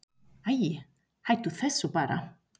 Æi, hættu þessu bara.